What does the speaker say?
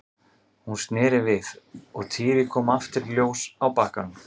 Hún sneri við og Týri kom aftur í ljós á bakkanum.